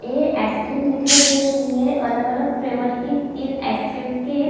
यह ice cream दिखाई दे रही है अलग-अलग फ्लेवर की तीन आइस क्रीम --